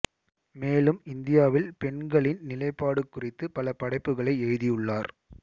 மேலும் இந்தியாவில் பெண்களின் நிலைப்பாடு குறித்து பல படைப்புகளை எழுதியுள்ளார்